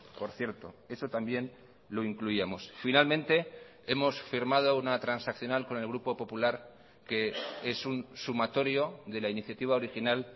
por cierto eso también lo incluíamos finalmente hemos firmado una transaccional con el grupo popular que es un sumatorio de la iniciativa original